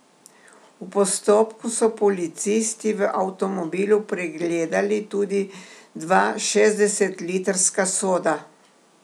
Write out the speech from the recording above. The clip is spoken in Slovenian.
V postopku so policisti v avtomobilu pregledali tudi dva šestdeset litrska soda.